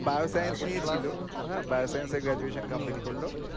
biochemistry ছিল হ্যাঁ biochemistry তে graduation complete করল